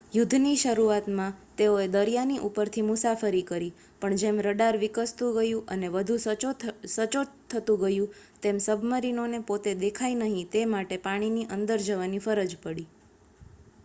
યુદ્ધની શરૂઆતમાં તેઓએ દરિયાની ઉપરથી મુસાફરી કરી પણ જેમ રડાર વિકસતું ગયું અને વધુ સચોટ થતું ગયું તેમ સબ્મરીનોને પોતે દેખાય નહીં તે માટે પાણીની અંદર જવાની ફરજ પડી